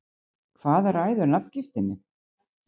Hvað ræður nafngiftinni?